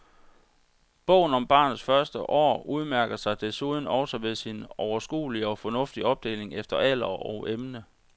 Bogen om barnets første år udmærker sig desuden også ved sin overskuelige og fornuftige opdeling efter alder og emne.